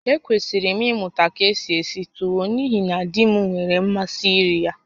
Ekwesịrị m ịmụta ka esi esi tuwo n'ihi na di m nwere mmasị iri ya